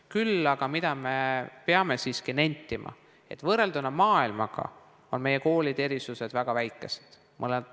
Küll aga me peame siiski nentima, et võrrelduna maailmaga on meie koolide erinevused väga väikesed.